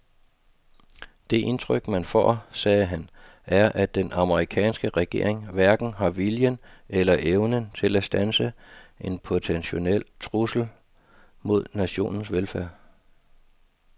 Det indtryk man får, sagde han, er at den amerikanske regering hverken har viljen eller evnen til at standse en potentiel trussel mod nationens velfærd.